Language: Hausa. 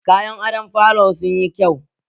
Kayan adon falon sunyi kyau